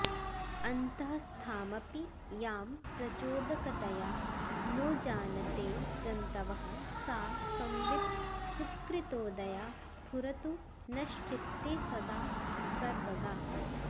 अन्तःस्थामपि यां प्रचोदकतया नो जानते जन्तवः सा संवित् सुकृतोदया स्फुरतु नश्चित्ते सदा सर्वगा